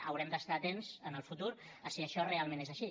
haurem d’estar atents en el futur a si això realment és així